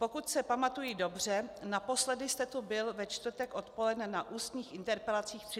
Pokud se pamatuji dobře, naposledy jste tu byl ve čtvrtek odpoledne na ústních interpelacích 30. dubna.